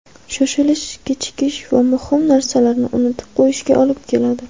Shoshilish kechikish va muhim narsalarni unutib qo‘yishga olib keladi.